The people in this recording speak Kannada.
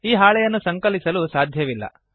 ಈ ಹಾಳೆಯನ್ನು ಸಂಕಲಿಸಲುಎಡಿಟ್ ಸಾಧ್ಯವಿಲ್ಲ